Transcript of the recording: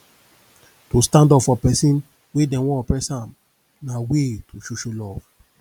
to stand up for persin wey dem won oppress am na way to show show love